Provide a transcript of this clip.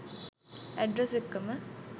address එක්කම